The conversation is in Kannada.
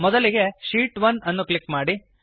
ಮೊದಲಿಗೆ ಶೀಟ್ 1 ಅನ್ನು ಕ್ಲಿಕ್ ಮಾಡಿ